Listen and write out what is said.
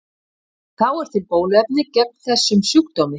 Þá er til bóluefni gegn þessum sjúkdómi.